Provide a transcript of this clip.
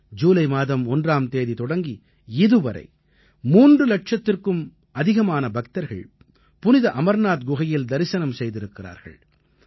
ஜூலை மாதம் 1ஆம் தேதி தொடங்கி இதுவரை 3 இலட்சத்திற்கும் அதிகமான பக்தர்கள் புனித அமர்நாத் குகையில் தரிசனம் செய்திருக்கிறார்கள்